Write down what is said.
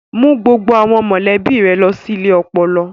Mú gbogbo àwọn mọ̀lẹ́bí rẹ lọ sí ilé ọpọlọ.